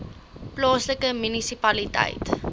plaaslike munisipaliteit